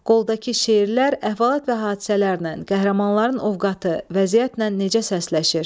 Qoldakı şeirlər əhvalat və hadisələrlə, qəhrəmanların ovqatı, vəziyyətlə necə səsləşir?